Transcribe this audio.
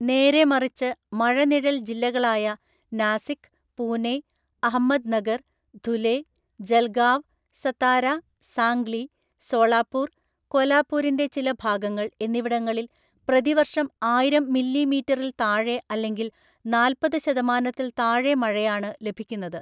നേരെമറിച്ച് മഴനിഴൽ ജില്ലകളായ നാസിക്, പൂനെ, അഹമ്മദ്നഗർ, ധുലെ, ജൽഗാവ്, സതാര, സാംഗ്ലി, സോളാപൂർ, കോലാപൂരിൻ്റെ ചില ഭാഗങ്ങൾ എന്നിവിടങ്ങളിൽ പ്രതിവർഷം ആയിരം മില്ലിമീറ്ററിൽ താഴെ അല്ലെങ്കിൽ നാല്‍പത് ശതമാനത്തിൽ താഴെ മഴയാണ് ലഭിക്കുന്നത്.